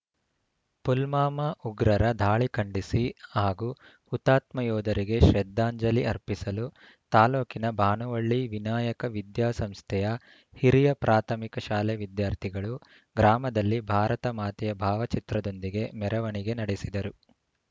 ಪುಲ್ಮಾಮಾ ಉಗ್ರರ ದಾಳಿ ಖಂಡಿಸಿ ಹಾಗೂ ಹುತಾತ್ಮ ಯೋಧರಿಗೆ ಶ್ರದ್ದಾಂಜಲಿ ಅರ್ಪಿಸಲು ತಾಲೂಕಿನ ಭಾನುವಳ್ಳಿ ವಿನಾಯಕ ವಿದ್ಯಾ ಸಂಸ್ಥೆಯ ಹಿರಿಯ ಪ್ರಾಥಮಿಕ ಶಾಲೆ ವಿದ್ಯಾರ್ಥಿಗಳು ಗ್ರಾಮದಲ್ಲಿ ಭಾರತ ಮಾತೆಯ ಭಾವಚಿತ್ರದೊಂದಿಗೆ ಮೆರವಣಿಗೆ ನಡೆಸಿದರು